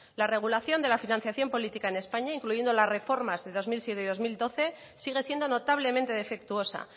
la regulación de la financiación política en españa incluyendo las reformas de dos mil siete y dos mil doce sigue siendo notablemente defectuosa